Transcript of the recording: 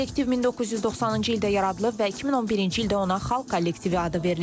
Kollektiv 1990-cı ildə yaradılıb və 2011-ci ildə ona xalq kollektivi adı verilib.